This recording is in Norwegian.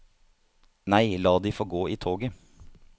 Nei, la de få gå i toget.